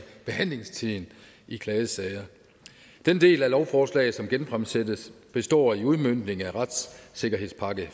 behandlingstiden i klagesager den del af lovforslaget som genfremsættes består i udmøntning af retssikkerhedspakke